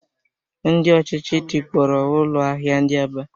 Ndị ọchịchị tikpọrọ ụlọ ahịa ndị Aba